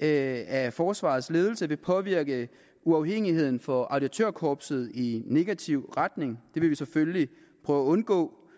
af forsvarets ledelse vil påvirke uafhængigheden for auditørkorpset i negativ retning det vil vi selvfølgelige prøve at undgå